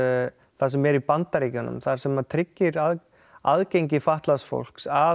það sem er í Bandaríkjunum það sem tryggir aðgengi fatlaðs fólks að